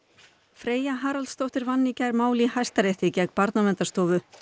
Freyja Haraldsdóttir vann í gær mál í Hæstarétti gegn Barnaverndarstofu